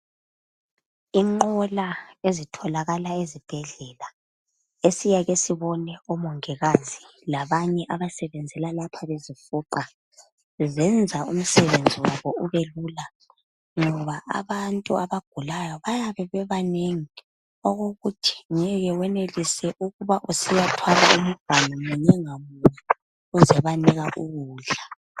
Inqola ezitholakala ezibhedlela esiyake sibone omongikazi labanye abasebenza lapho bezifuqa, zenza umsebenzi wabo ubelula ngoba abantu abagulayo bayabe bebanengi okokuthi ngeke wenelise ukuba usiya thwala imiganu munye ngamunye uzebanika ukudla.